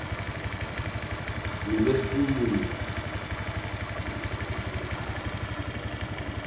ngulwesine